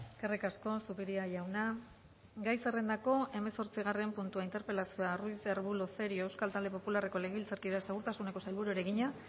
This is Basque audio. eskerrik asko zupiria jauna gai zerrendako hemezortzigarren puntua interpelazioa ruiz de arbulo cerio euskal talde popularreko legebiltzarkideak segurtasuneko sailburuari egina